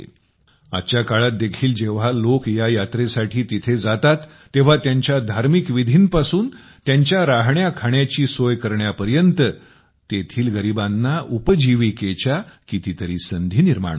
आजच्या काळात देखील जेव्हा लोक या यात्रेसाठी तिथे जातात तेव्हा त्यांच्या धार्मिक विधींपासून त्यांच्या राहण्याखाण्याची सोय करण्यापर्यंत तेथील गरिबांना उपजीविकेच्या कितीतरी संधी निर्माण होतात